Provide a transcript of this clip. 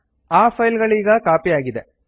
ಆ ಫೈಲ್ ಗಳೀಗ ಕಾಪಿಯಾಗಿದೆ